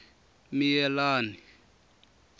miyelani